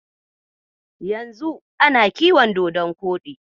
Yanzu ana kiyon dodon koɗi.